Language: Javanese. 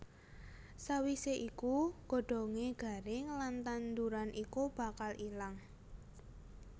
Sawisé iku godhongé garing lan tanduran iku bakal ilang